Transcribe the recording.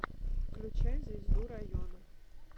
включай звезду района